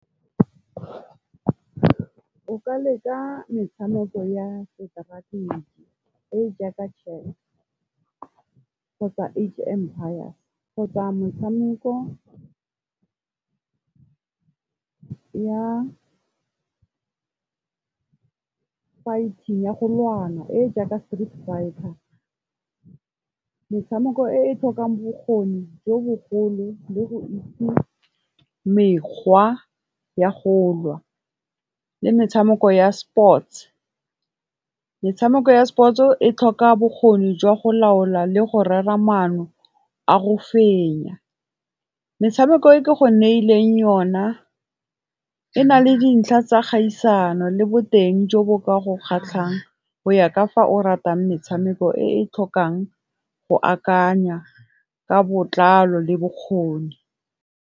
O ka leka metshameko ya seteraeke e jaaka Chess kgotsa H-empire kgotsa motshameko ya golwana e jaaka street fighter. Metshameko e tlhokang bokgoni jo bogolo le go itse mekgwa ya go lwa le metshameko ya sports, metshameko ya sport o e tlhoka bokgoni jwa go laola le go rera maano a go fenya, metshameko e ke go neileng ona e na le dintlha tsa kgaisano le boteng jo bo ka go kgatlhang go ya ka fa o ratang metshameko e e tlhokang go akanya ka botlalo le bokgoni.